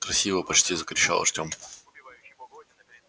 красиво почти закричал артем